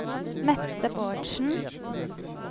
Mette Bårdsen